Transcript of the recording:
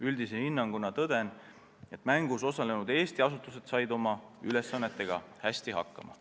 Üldise hinnanguna tõden, et mängus osalenud Eesti asutused said oma ülesannetega hästi hakkama.